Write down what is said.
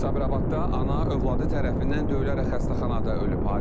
Sabirabadda ana övladı tərəfindən döyülərək xəstəxanada ölüb.